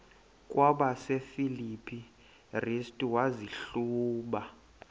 kwabasefilipi restu wazihluba